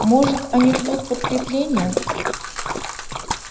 может они ждут подкрепления